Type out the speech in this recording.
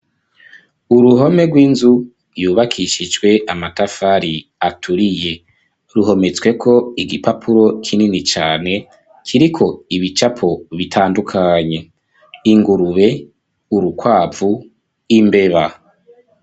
Uruhome rw'inzu yubakishijwe amatafari aturiye ruhometsweko igipapuro kinini cane kiriko ibicapo bitandukanye ingurube urukwavu imbeba.